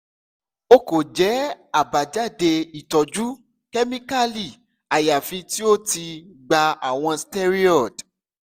o ko jẹ abajade itọju kemikali ayafi ti o ti gba awọn steroid